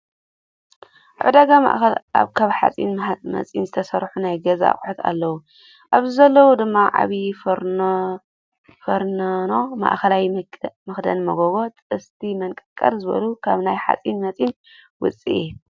ኣበ ዕዳጋ ማእኸል ካብ ሓፂን መፂን ዝተሰርሑ ናይ ገዛ ኣቁሑት ኣለው፦ ኣብዚ ዘለው ድማ፦ ዓብዩ ፌርነኖ፣ ማእከላይ፣ መክደኒ መጎጎ፣ ጥስቲ መንቀርቀር፣ ዝበሉ ካብናይ ሓፂን መፂን ውፅኢት።